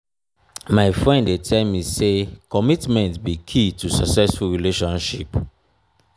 my friend dey tell me say commitment be key to successful relationship.